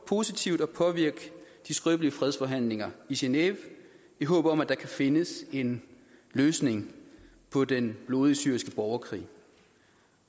positivt at påvirke de skrøbelige fredsforhandlinger i genève i håb om at der kan findes en løsning på den blodige syriske borgerkrig